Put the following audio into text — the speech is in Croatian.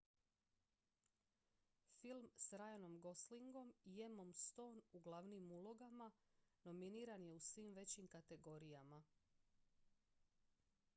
film s ryanom goslingom i emmom stone u glavnim ulogama nominiran je u svim većim kategorijama